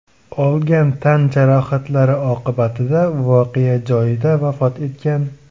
olgan tan jarohatlari oqibatida voqea joyida vafot etgan.